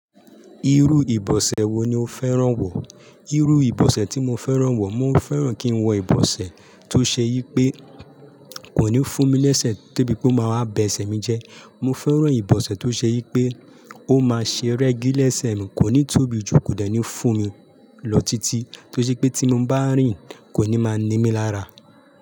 Irú ìbọ̀sẹ̀ wo ni o fẹ́ràn wọ̀? Irú ìbọ̀sẹ̀ tí mo fẹ́ràn wọ̀, mo fẹ́ràn kí n wọ ìbọ̀sẹ̀ tó ṣe yí pé kò ní fún mi léṣe de bi ò máa wa bẹṣẹ mi jẹ. Mo fẹ́ràn ìbọ̀sẹ̀ tó ṣe yí pé ó máa ṣe rẹ́gí léṣẹ mi, kò ní tóbi jù kò dẹ̀ ní fún mi lọ títí tó ṣe pé tí mo bá rìn kò ní máa ní mí lára.